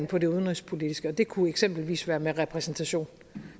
på det udenrigspolitiske hverdagen det kunne eksempelvis være med repræsentation